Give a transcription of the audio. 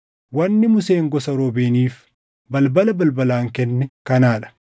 Wanni Museen gosa Ruubeeniif, balbala balbalaan kenne kanaa dha: